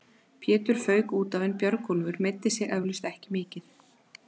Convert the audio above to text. Pétur fauk útaf en Björgólfur meiddi sig eflaust ekki mikið.